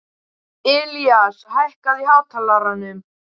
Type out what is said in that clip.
Ilías, hækkaðu í hátalaranum.